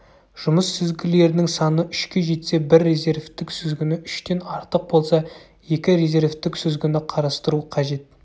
жұмыс сүзгілерінің саны үшке жетсе бір резервтік сүзгіні үштен артық болса екі резервтік сүзгіні қарастыру қажет